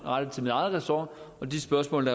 ressort og de spørgsmål